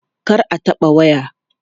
Kar a taɓa waya!